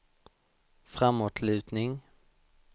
framåtlutning